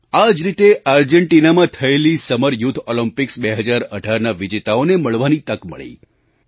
આ જ રીતે આર્જેન્ટિનામાં થયેલી સમર યૂથ ઑલિમ્પિક્સ 2018ના વિજેતાઓને મળવાની તક મળી